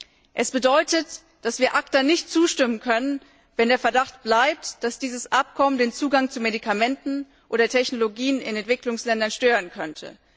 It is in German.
Sie bedeutet, dass wir ACTA nicht zustimmen können, wenn der Verdacht bleibt, dass dieses Abkommen den Zugang zu Medikamenten oder Technologien in Entwicklungsländern stören könnte.